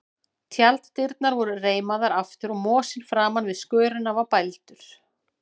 Tjalddyrnar voru reimaðar aftur og mosinn framan við skörina var bældur.